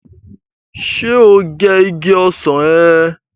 Ṣé o gé igi ọsàn ẹ?